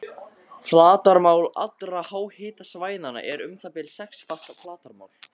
Flatarmál allra háhitasvæðanna er um það bil sexfalt flatarmál